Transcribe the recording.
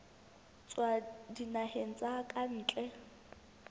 tswa dinaheng tsa ka ntle